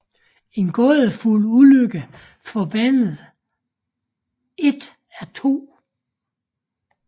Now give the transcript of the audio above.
En gådefuld ulykke forvandler et af 2